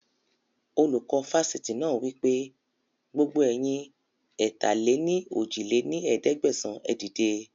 Olùkọ́ Fásitì náà wípé, gbogbo ẹ̀yin ẹ̀ta-lé-ní-ojì lé ní ẹ̀ẹ́dẹ́gbẹ́sán, ẹ dìde